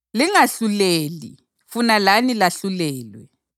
“Lingahluleli funa lani lahlulelwe.